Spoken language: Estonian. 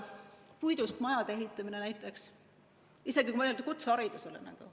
Puidust majade ehitamine näiteks, kui mõelda kutseharidusele.